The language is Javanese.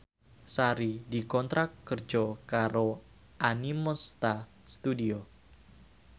Sari dikontrak kerja karo Animonsta Studio